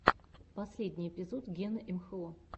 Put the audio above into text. последний эпизод гены имхо